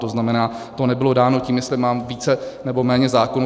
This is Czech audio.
To znamená, to nebylo dáno tím, jestli mám více nebo méně zákonů.